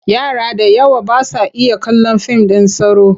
Yara da yawa ba sa iya kallon fim ɗin tsoro.